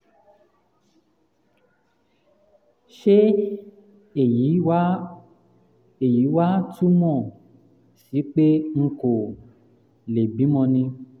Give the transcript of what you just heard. ṣé um èyí wá um èyí wá túmọ̀ um sí pé n kò um lè bímọ ni?